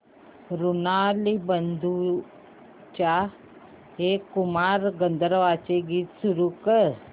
ऋणानुबंधाच्या हे कुमार गंधर्वांचे गीत सुरू कर